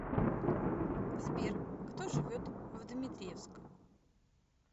сбер кто живет в дмитриевск